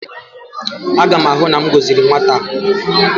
Aga m ahụ na m gọziri nwata a